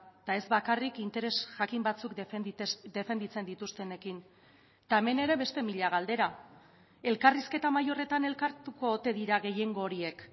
eta ez bakarrik interes jakin batzuk defenditzen dituztenekin eta hemen ere beste mila galdera elkarrizketa mahai horretan elkartuko ote dira gehiengo horiek